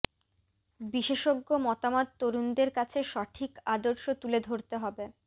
বিশেষজ্ঞ মতামত তরুণদের কাছে সঠিক আদর্শ তুলে ধরতে হবে